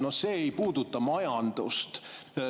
No see ei puuduta majandust.